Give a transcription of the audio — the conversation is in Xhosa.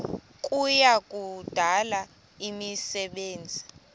kuya kudala imisebenzi